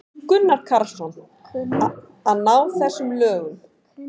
Gunnar Karlsson: Að ná íslenskum lögum.